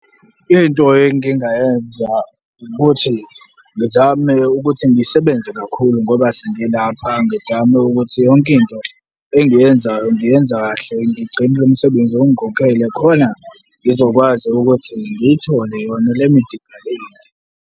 Into engingayenza ukuthi ngizame ukuthi ngisebenze kakhulu ngoba sengilapha, ngizame ukuthi yonke into engiyenzayo ngiyenza kahle, ngigcine umsebenzi ongikhokhele khona ngizokwazi ukuthi ngiyithole yona le medical aid.